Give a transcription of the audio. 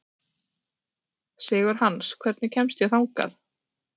Sigurhans, hvernig kemst ég þangað?